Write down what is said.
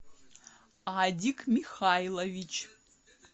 адик михайлович